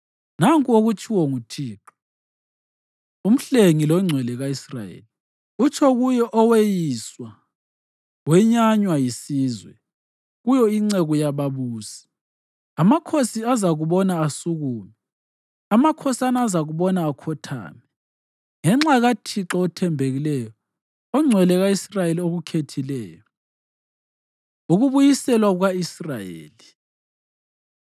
Nanku okutshiwo nguThixo, uMhlengi loNgcwele ka-Israyeli, utsho kuye oweyiswa, wenyanywa yisizwe, kuyo inceku yababusi: “Amakhosi azakubona asukume, amakhosana azakubona akhothame, ngenxa kaThixo othembekileyo, oNgcwele ka-Israyeli okukhethileyo.” Ukubuyiselwa Kuka-Israyeli